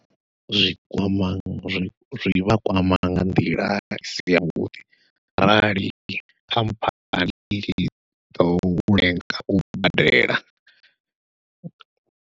Zwi kwama zwi zwivha kwama nga nḓila isi yavhuḓi arali khamphani i tshi ḓo lenga u badela.